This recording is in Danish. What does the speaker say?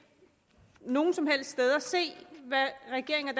nogen som helst steder se hvad regeringen og